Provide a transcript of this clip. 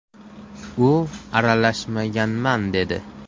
“U aralashmaganman dedi.